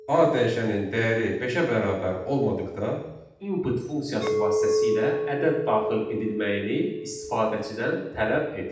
A dəyişənin dəyəri beşə bərabər olmadıqda, input funksiyası vasitəsilə ədəd daxil edilməyini istifadəçidən tələb et.